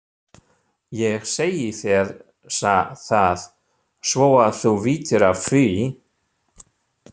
Ég segi þér það, svo að þú vitir af því